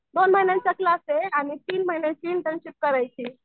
दोन महिन्यांचा क्लास आहे तीन महिन्यांचा इंटर्नशिप करायची आहे.